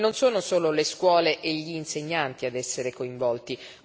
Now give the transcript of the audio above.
Non sono solo le scuole e gli insegnanti ad essere coinvolti.